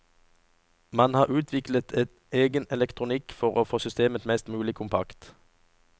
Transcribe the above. Man har utviklet en egen elektronikk for å få systemet mest mulig kompakt.